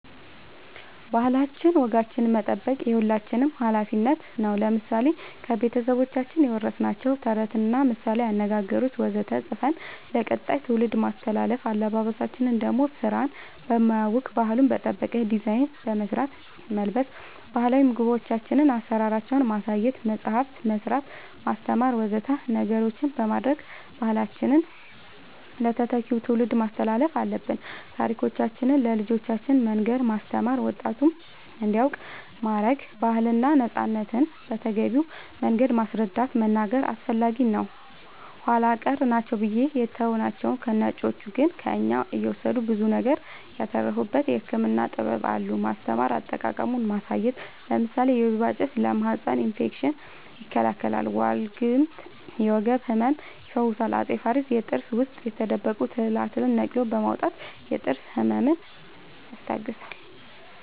ባህላችን ወጋችን መጠበቅ የሁላችንም አላፊነት ነው ለምሳሌ ከቤተሰቦቻችን የወረስናቸውን ተረቶች ምሳላዊ አነገገሮች ወዘተ ፅፈን ለቀጣይ ትውልድ ማስተላለፍ አለበበሳችን ደሞ ስራን በማያውክ ባህሉን በጠበቀ ዲዛይን በመስራት መልበስ ባህላዊ ምግቦቻችን አሰራራቸውን ማሳየት መፅአፍ መስራት ማስተማር ወዘተ ነገሮች በማድረግ ባህላችንን ለተተኪው ትውልድ ማስተላለፍ አለብን ታሪኮቻችን ለልጆቻን መንገር ማስተማር ወጣቱም እንዲያውቅ ማረግ ባህልና ነፃነትን በተገቢው መንገድ ማስረዳት መናገር አስፈላጊ ነው ኃላ ቀር ናቸው ብለን የተውናቸው ነጮቹ ግን ከእኛ እየወሰዱ ብዙ ነገር ያተረፉበት የህክምና ጥበብ አሉን ማስተማር አጠቃቀሙን ማሳየት ለምሳሌ ወይባ ጭስ ለማህፀን እፌክሽን ይከላከላል ዋልግምት የወገብ ህመም ይፈውሳል አፄ ፋሪስ የጥርስ ውስጥ የተደበቁ ትላትልን ነቅሎ በማውጣት የጥርስ ህመምን